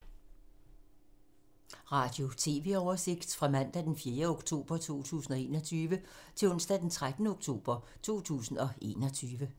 Radio/TV oversigt fra mandag d. 4. oktober 2021 til onsdag d. 13. oktober 2021